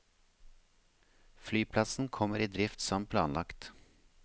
Flyplassen kommer i drift som planlagt.